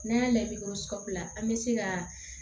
N'an y'a ladi ko sabula an bɛ se ka